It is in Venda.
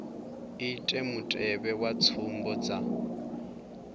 ite mutevhe wa tsumbo dza